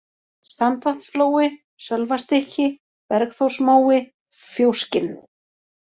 Sandvatnsflói, Sölvastykki, Bergþórsmói, Fjóskinn